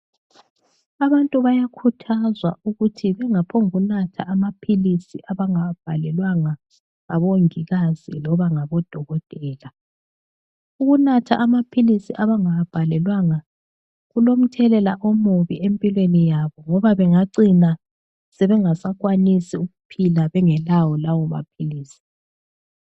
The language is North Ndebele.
Abantu bayakhuthazwa ukuthi bengaphongunatha amaphilisi abangawabhalelwanga ngabongikazi loba ngabodokotela. Ukunatha amaphilisi abangawabhalelwanga kulomthelela omubi empilweni yabo ngoba bengacina sebengasakwanisi ukuphila bengelawo lawomaphilisi.